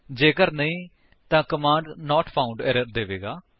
ਜੇਕਰ ਨਹੀਂ ਤਾਂ ਕਮਾਂਡ ਨਾਟ ਫਾਉਂਡ ਏਰਰ ਦੇਵੇਗਾ